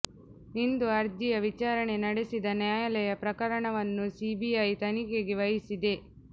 ಇಂದು ಅರ್ಜಿಯ ವಿಚಾರಣೆ ನಡೆಸಿದ ನ್ಯಾಯಾಲಯ ಪ್ರಕರಣವನ್ನು ಸಿಬಿಐ ತನಿಖೆಗೆ ವಹಿಸಿದೆ